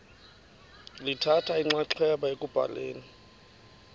lithatha inxaxheba ekubhaleni